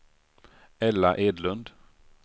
Ella Edlund